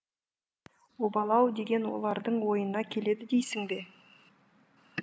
обал ау деген олардың ойына келеді дейсің бе